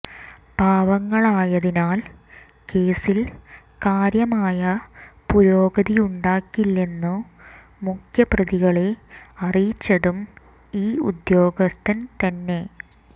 പാവങ്ങളായതിനാൽ കേസിൽ കാര്യമായ പുരോഗതിയുണ്ടാകില്ലെന്നു മുഖ്യപ്രതികളെ അറിയിച്ചതും ഈ ഉദ്യോഗസ്ഥൻ തന്നെ